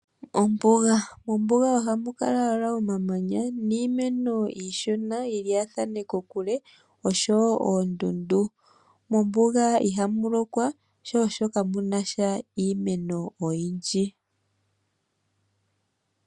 Ombuga Mombuga ohamu kala omamanya niimeno yi lyaathane kokule osho wo oondundu. Mombuga ihamu lokwa sho osho kamu na sha iimeno oyindji.